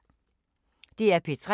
DR P3